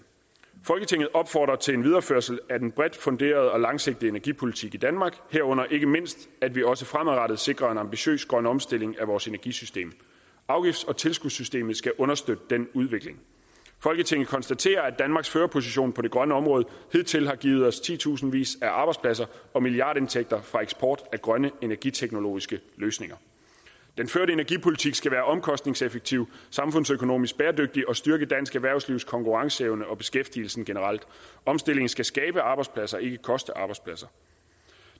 folketinget opfordrer til en videreførsel af den bredt funderede og langsigtede energipolitik i danmark herunder ikke mindst at vi også fremadrettet sikrer en ambitiøs grøn omstilling af vores energisystem afgifts og tilskudssystemet skal understøtte den udvikling folketinget konstaterer at danmarks førerposition på det grønne område hidtil har givet os titusindvis af arbejdspladser og milliardindtægter fra eksport af grønne energiteknologiske løsninger den førte energipolitik skal være omkostningseffektiv samfundsøkonomisk bæredygtig og styrke dansk erhvervslivs konkurrenceevne og beskæftigelsen generelt omstillingen skal skabe arbejdspladser ikke koste arbejdspladser